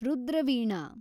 Rudra Veena